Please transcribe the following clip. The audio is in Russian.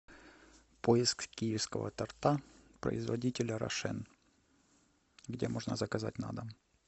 поиск киевского торта производителя рошен где можно заказать на дом